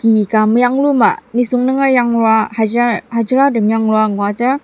ki ka meyangluma nisung nunger yanglua hajira hajiratem yanglua ngudar.